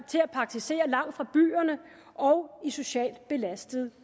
til at praktisere langt fra byerne og i socialt belastede